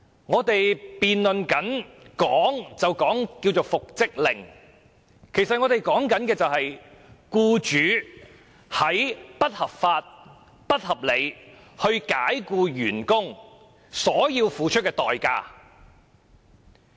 我們辯論的所謂復職令，其實是關於僱主不合理及不合法地解僱員工所須付出的代價。